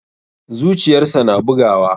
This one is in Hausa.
Zuciyarsa na bugawa.